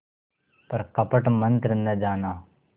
पर कपट मन्त्र न जाना